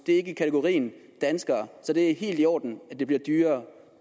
er i kategorien danskere så det er helt i orden at det bliver dyrere